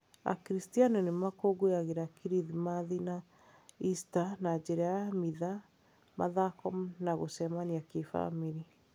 Akristiano nĩ makũngũyagĩra Kirithimathi na Ista na njĩra ya mitha, mathako na gũcemania kĩbamĩrĩ.